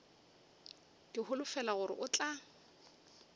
ke holofela gore o tla